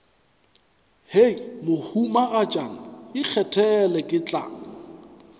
hei mohumagatšana ikgethele ke tla